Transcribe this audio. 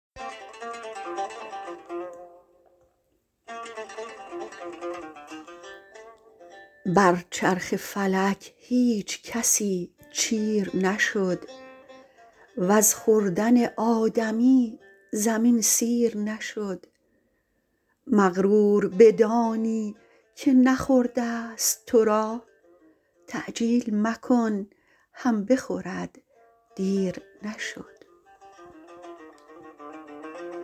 بر چرخ فلک هیچ کسی چیر نشد وز خوردن آدمی زمین سیر نشد مغرور بدانی که نخورده ست تو را تعجیل مکن هم بخورد دیر نشد